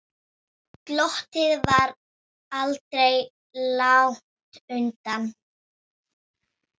Glottið var aldrei langt undan.